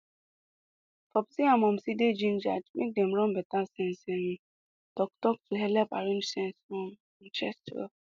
popsi and momsi dey gingered make dem run better sense um talktalk to helep arrange sense um and chest well